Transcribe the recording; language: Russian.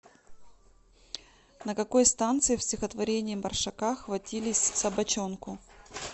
на какой станции в стихотворении маршака хватились собачонку